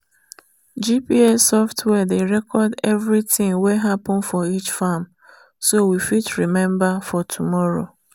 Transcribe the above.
gps software dey record everything wey happen for each farm so we fit remember for tomorrow.